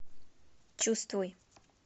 чувствуй